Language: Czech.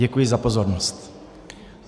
Děkuji za pozornost.